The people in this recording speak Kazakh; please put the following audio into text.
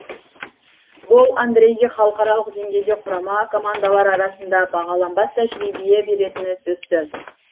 бұл андрейге халықаралық деңгейде құрама командалар арасында бағаланбас тәжіребие беретіні сөзсіз